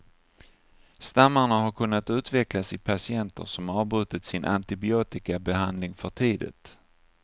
Stammarna har kunnat utvecklas i patienter som avbrutit sin antibiotikabehandling för tidigt.